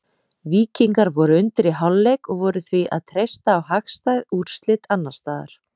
Víkingar voru undir í hálfleik og voru því að treysta á hagstæð úrslit annars staðar.